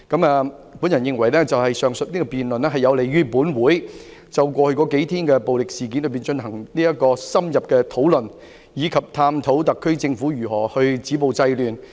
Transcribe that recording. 我認為上述辯論有利於本會就過去數天的暴力事件進行深入討論，以及探討特區政府如何止暴制亂。